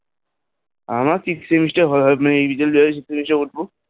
আমার fifth semester হবে এই বার fifth এ বসব.